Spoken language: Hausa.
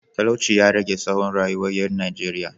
Talauci ya rage tsawon rayuwar ‘yan Najeriya